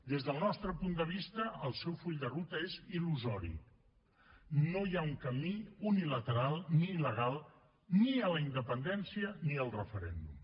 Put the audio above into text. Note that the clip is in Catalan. des del nostre punt de vista el seu full de ruta és il·lusori no hi ha un camí unilateral ni legal ni a la independència ni al referèndum